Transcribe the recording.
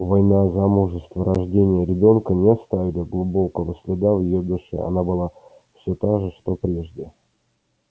война замужество рождение ребёнка не оставили глубокого следа в её душе она была всё та же что прежде